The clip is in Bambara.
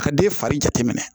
Ka den fari jate minɛ